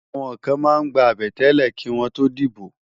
Àwòn kán má n gbá àbètélè kiwòn tó dibó